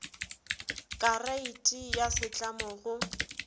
ka reiti ya setlamo go